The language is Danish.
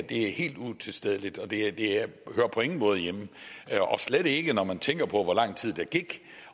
det er helt utilstedeligt og det hører på ingen måde hjemme slet ikke når man tænker på hvor lang tid der gik